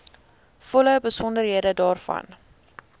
volle besonderhede daarvan